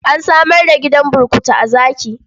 An samar da gidan burkutu a Zaki.